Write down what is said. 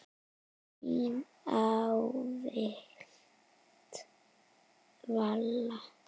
Þín ávallt, Vala.